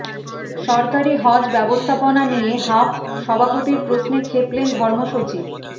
সরকারি হজ ব্যবস্থাপনা নিয়ে হাব সভাপতির প্রশ্নে ক্ষেপলেন ধর্মসচিব